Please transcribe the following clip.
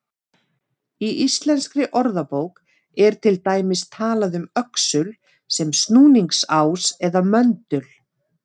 Í Íslenskri orðabók er til dæmis talað um öxul sem snúningsás eða möndul.